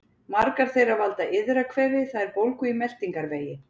Margar þeirra valda iðrakvefi, það er bólgu í meltingarvegi.